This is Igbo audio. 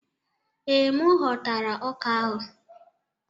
Ee, m ghọtara ọka ahụ.